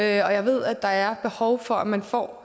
jeg ved at der er behov for at man får